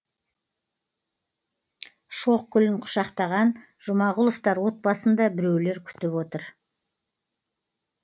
шоқ гүлін құшақтаған жұмағұловтар отбасын да біреулер күтіп отыр